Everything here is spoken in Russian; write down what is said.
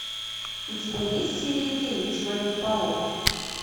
у тебя есть серия девять человек паук